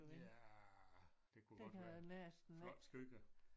Ja det kunne godt være. Flotte skyer